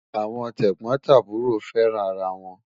Awọn tẹgbọtaburọ fẹ́ràn ara wọn